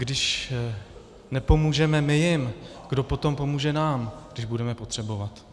Když nepomůžeme my jim, kdo potom pomůže nám, když budeme potřebovat?